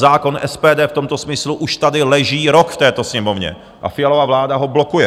Zákon SPD v tomto smyslu už tady leží rok v této Sněmovně a Fialova vláda ho blokuje.